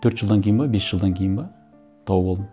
төрт жылдан кейін бе бес жылдан кейін бе тауып алдым